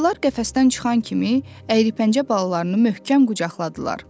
Ayılar qəfəsdən çıxan kimi əyripəncə balalarını möhkəm qucaqladılar.